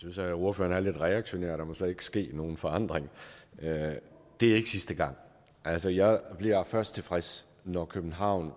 synes at ordføreren er lidt reaktionær der må slet ikke ske nogen forandring det er ikke sidste gang altså jeg bliver først tilfreds når københavns